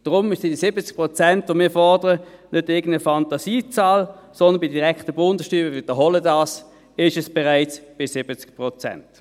Deshalb sind die 70 Prozent, die wir fordern, nicht irgendeine Fantasiezahl, sondern – ich wiederhole das – bei der direkten Bundessteuer sind es bereits 70 Prozent.